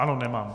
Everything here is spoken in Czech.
Ano, nemám.